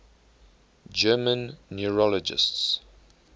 german neurologists